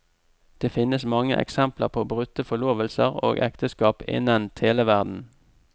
Det finnes mange eksempler på brutte forlovelser og ekteskap innen televerdenen.